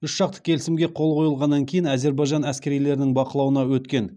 үшжақты келісімге қол қойылғаннан кейін әзербайжан әскерилерінің бақылауына өткен